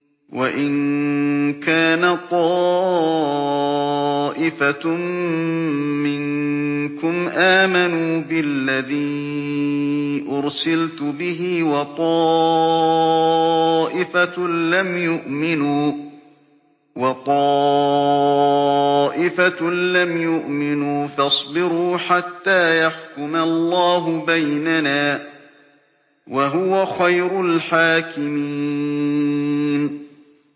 وَإِن كَانَ طَائِفَةٌ مِّنكُمْ آمَنُوا بِالَّذِي أُرْسِلْتُ بِهِ وَطَائِفَةٌ لَّمْ يُؤْمِنُوا فَاصْبِرُوا حَتَّىٰ يَحْكُمَ اللَّهُ بَيْنَنَا ۚ وَهُوَ خَيْرُ الْحَاكِمِينَ